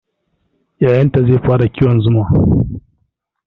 Yayanta zai fara kiwon zuma